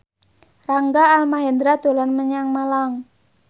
Rangga Almahendra dolan menyang Malang